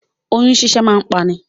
Òyun ṣíṣẹ́ máa ń pa ni.